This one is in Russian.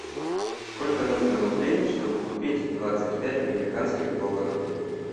сколько нужно рублей чтобы купить двадцать пять американских долларов